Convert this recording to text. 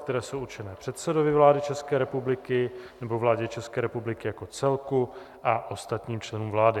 které jsou určeny předsedovi vlády České republiky nebo vládě České republiky jako celku a ostatním členům vlády.